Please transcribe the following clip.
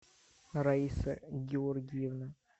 раиса георгиевна